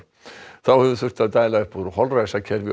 þá hefur þurft að dæla upp úr holræsakerfi